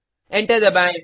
enter दबाएँ